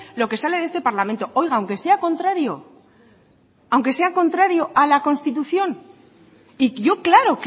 lo que sale de este parlamento oiga aunque sea contrario aunque sea contrario a la constitución y yo claro